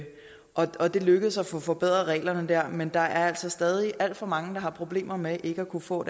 og det lykkedes at få forbedret reglerne men der er altså stadig alt for mange der har problemer med ikke at kunne få